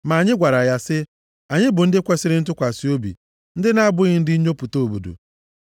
Ma anyị gwara ya sị, ‘Anyị bụ ndị kwesiri ntụkwasị obi, ndị na-abụghị ndị nnyopụta obodo.